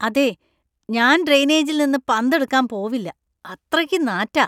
അതെ, ഞാൻ ഡ്രെയിനേജിൽ നിന്ന് പന്ത് എടുക്കാൻ പോവില്ല . അത്രയ്ക്ക് നാറ്റാ .